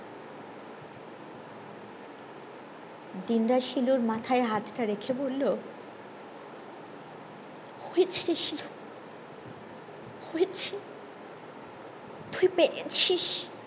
দিন দা শিলুর মাথায় হাত টা রেখে বললো হয়েছে শিলু হয়েছে তুই পেরেছিস